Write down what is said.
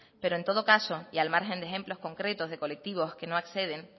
pero en todo caso y al margen de ejemplos concretos de colectivos que no acceden